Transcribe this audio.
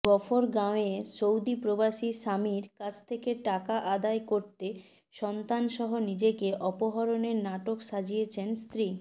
গফরগাঁওয়ে Saudi প্রবাসী স্বামীর কাছ থেকে টাকা আদায় করতে সন্তানসহ নিজেকে অপহরণের নাটক সাজিয়েছেন স্ত্রী